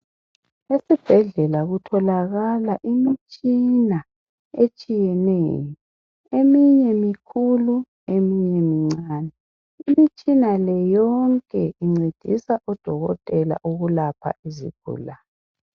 Esibhedlela kutholakala imitshina etshiyeneyo, eminye mikhulu eminye mncane , imitshina le yonke incedisa odokotela ukulapha izigulane